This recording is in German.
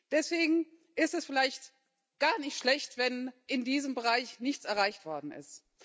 Deswegen ist es vielleicht gar nicht schlecht, wenn in diesem Bereich nichts erreicht worden ist.